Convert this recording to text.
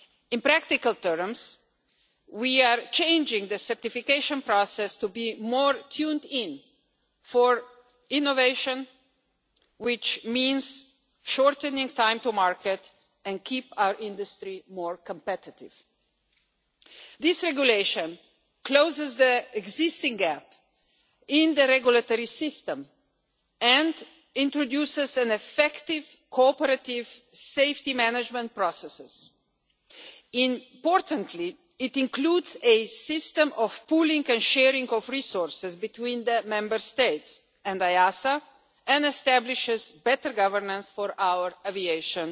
In practical terms, we are changing the certification process to be more tuned in for innovation, which means shortening time to market and keeping our industry more competitive. This regulation closes the existing gap in the regulatory system and introduces effective, cooperative safety management processes. Importantly, it includes a system of pooling and sharing of resources between the Member States and EASA and establishes better governance for our aviation